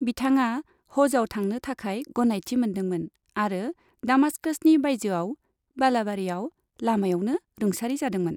बिथाङा हजआव थांनो थाखाय गनायथि मोनदोंमोन आरो दामाश्काशनि बायजोआव बालाबारियाव लामायावनो रुंसारि जादोंमोन।